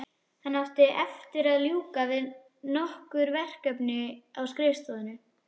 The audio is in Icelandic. Hann átti eftir að ljúka við nokkur verkefni á skrifstofunni.